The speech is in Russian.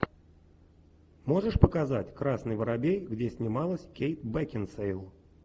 можешь показать красный воробей где снималась кейт бекинсейл